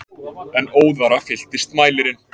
En óðara fylltist mælirinn.